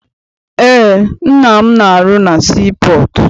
Eé, nna m na arụ na sii pọọtụ.